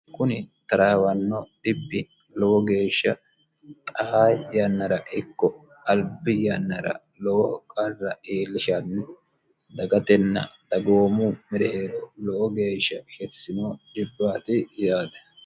kuni taraawanno dhibi lowo geeshsha xaa yannara ikko albi yannara lowo qarra iillishanni dagatenna dagoomu mereero lowo geeshsha shetisino dhibbaati yaate.